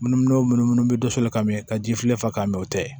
Munumunu munumunu bɛ dɛsɛ ka mɛn ka ji filɛ ka mɛn o tɛ